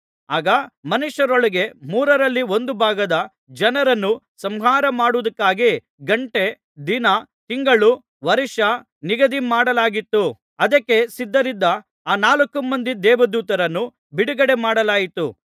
ಆಗ ಮನುಷ್ಯರೊಳಗೆ ಮೂರರಲ್ಲಿ ಒಂದು ಭಾಗದ ಜನರನ್ನು ಸಂಹಾರಮಾಡುವುದಕ್ಕಾಗಿ ಗಂಟೆ ದಿನ ತಿಂಗಳು ವರ್ಷ ಎಲ್ಲವನ್ನೂ ನಿಗದಿಮಾಡಲಾಗಿತ್ತು ಅದಕ್ಕೆ ಸಿದ್ಧರಿದ್ದ ಆ ನಾಲ್ಕು ಮಂದಿ ದೇವದೂತರನ್ನು ಬಿಡುಗಡೆ ಮಾಡಲಾಯಿತು